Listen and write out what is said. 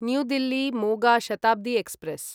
new Delhi Moga Shatabdi express